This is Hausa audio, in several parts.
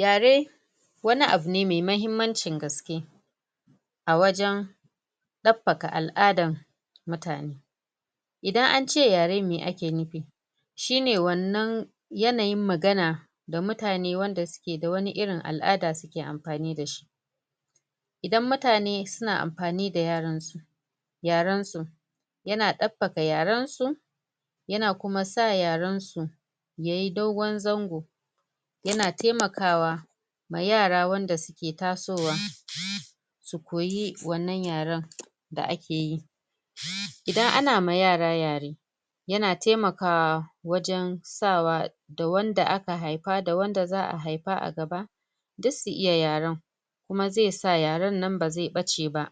Yare wani abu ne mai mahimmancin gaske a wajen daɓbaka al'adan mutane idan ance yare meh ake nufi shine wani yanayin magana da mutane wanda suke da wani irin al'ada suke amfani dashi idan mutane suna amfani da yaren su yaren su yana daɓbaka yaren su yana kuma sa yaren su yayi dogon zango yana taimaka ma yara wanda suke taso wa su koyi wannan yaren da akeyi idan ana ma yara yare yana taimaka wajen sa wa da wanda aka haifa da wanda za'a haifa a gaba duk su iya yaren kuma zai sa yaren bazai ɓace ba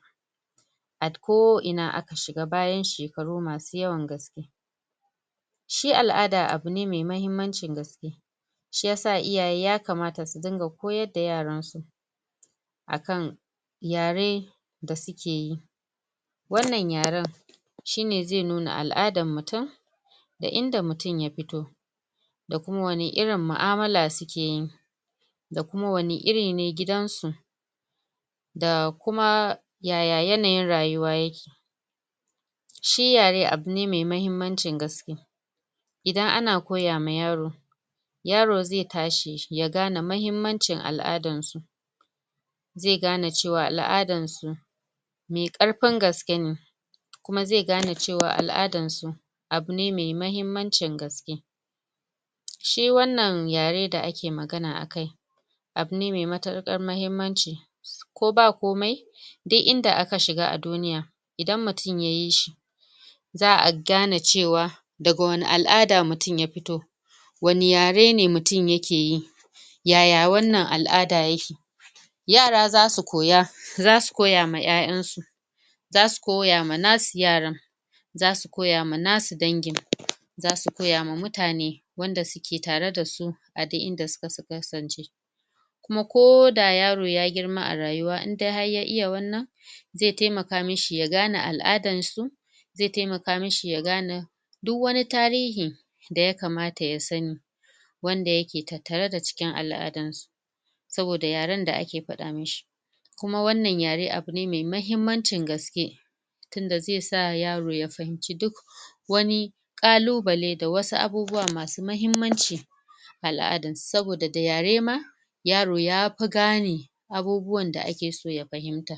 a ko ina da aka shiga bayan shekaru masu yawan gaske shi al'ada yana da mahimmancin gaske shiyasa iyaye yakamata su dinga koyadda yaran su akan yare da suke yi wannan yaren shine zai nuna al'adan mutum da inda mutum ya fito da kuma irin mu'amala sukeyi da kuma wani iri ne gidan su da kuma yay yanayin rayuwa yake shi yare abu ne mai mahimmancin gaske idan ana koya ma yaro yaro zai tashi ya gane mahimmancin al'adan su zai gane cewa al'adan su mai ƙarfin gaske ne kuma zai gane cewa al'adan su abu ne mai mahimmancin gaske shi wannan yare da ake magana a kai abu ne mai matuƙar mahimmanci ko ba komai duk inda aka shiga a duniya idan mutum yayi shi za'a gane cewa daga wani al'ada mutum ya fito wani yare ne mutum yake yi yaya wannan al'ada yake yara zasu koya zasu koya ma 'ya'yansu zasu koya ma nasu yaran zasu koya ma nasu ɗangin zasu koya ma mutane wanda suke tare da su a duk in da suka kasance kuma ko da yaro ya girma a rayuwa in dai ya iya wannan zai taimaka mishi ya gane al'adan su zai taimaka mishi ya gane duk wani tarihin da yakamata ya sani wanda yake tattare da cikin al'adan su saboda yaren da ake fada mishi kuma wannan yare abune mai mahimmancin gaske tunda zai sa yaro ya fahimce duk wani ƙalubale da wasu abubuwa masu mahimmanci a al'adan su saboda da yare ma yaro yafi gane abubuwan da ake so ya fahimta.